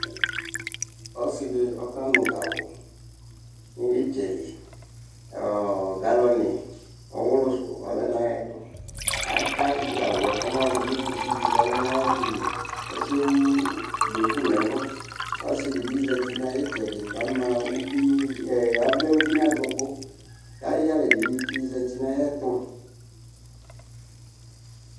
Ɔsɩ dɩ ɔkanʋ gawʋ nʋ ɩtsɛ li Galɔnɩ ɔɣʋlʋ sʋ ɔlɛ nʋ ayɛtʋ Aka gawʋ yɛ kɔmayɔdʋ nʋ kusi dɩ kʋ ɔlɛ nʋ ayɛtʋ li Ɔsɩ yɛ ewu duku nʋ ɛlʋ Ɔsɩ dɩ bɩ zati nʋ ayʋ ɩtsɛdɩ kʋ avlɛ uvi nʋ adʋkʋ kʋ ayʋ ɩyalɛ dɩ bɩ tsɩzati nʋ ayɛtʋ